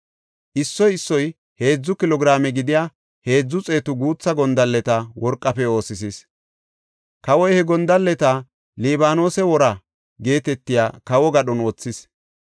Issoy issoy heedzu kilo giraame gidiya heedzu xeetu guutha gondalleta worqafe oosisis. Kawoy he gondalleta “Libaanose Woraa” geetetiya kawo gadhon wothis.